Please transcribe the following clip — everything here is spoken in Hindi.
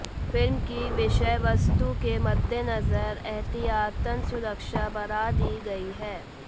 फिल्म की विषयवस्तु के मद्देनजर एहतियातन सुरक्षा बढ़ा दी गई है